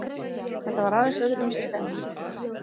Þetta var aðeins öðruvísi stemming.